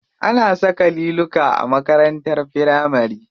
Ana saka liluka a makarantar firamari.